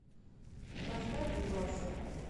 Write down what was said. поставь дубаса